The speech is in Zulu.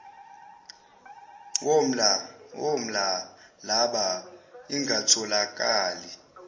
woml llaba ingatholakali